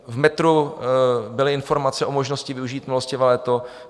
V metru byly informace o možnosti využít milostivé léto.